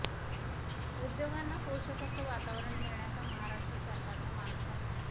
उद्योगांना पोषक असं वातावरण देण्याचा महाराष्ट्र सरकारचा मानस आहे